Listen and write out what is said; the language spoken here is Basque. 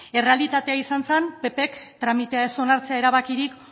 errealitatea izan zen ppk tramitea ez onartzea erabakirik